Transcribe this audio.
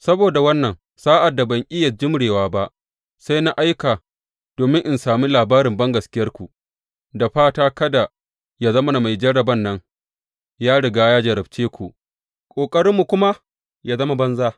Saboda wannan, sa’ad da ban iya jimrewa ba, sai na aika domin in sami labarin bangaskiyarku, da fata kada yă zama mai jarraban nan ya riga ya jarrabce ku, ƙoƙarinmu kuma yă zama banza.